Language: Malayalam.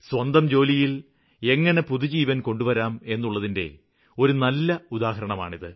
സ്വന്തം ജോലിയില് എങ്ങിനെ പുതുജീവന് കൊണ്ടുവരാം എന്നുള്ളതിന്റെ ഒരു നല്ല ഉദാഹരണമാണിത്